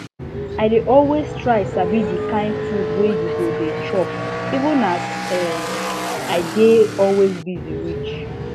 i dey always try sabi the kind food wey u go dey chop even as um i dey always busy reach